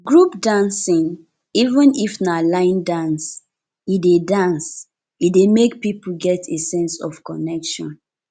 group dancing even if na line dance e dey dance e dey make people get a sense of connection